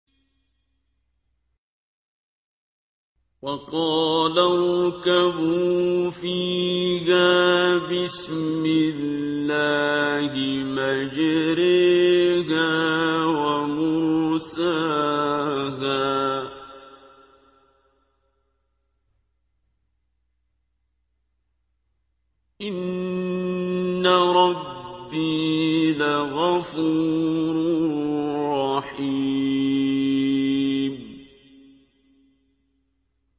۞ وَقَالَ ارْكَبُوا فِيهَا بِسْمِ اللَّهِ مَجْرَاهَا وَمُرْسَاهَا ۚ إِنَّ رَبِّي لَغَفُورٌ رَّحِيمٌ